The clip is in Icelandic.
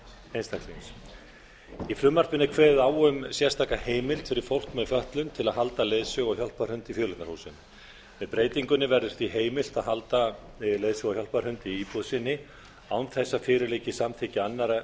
einstaklings í frumvarpinu er kveðið á um sérstaka heimild fyrir fólk með fötlun til að halda leiðsögu og hjálparhund í fjöleignarhúsum með breytingunni verður því heimilt að halda leiðsögu og hjálparhund í íbúð sinni án þess að fyrir liggi samþykki annarra